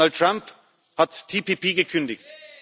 Und Donald Trump hat TPP gekündigt.